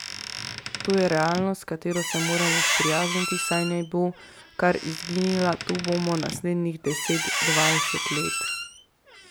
To je realnost, s katero se moramo sprijazniti, saj ne bo kar izginila, tu bo naslednjih deset, dvajset let.